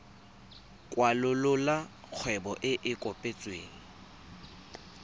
kwalolola kgwebo e e kopetsweng